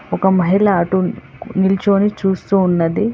ఒక మహిళ అటు నిల్చొని చూస్తూ ఉన్నది.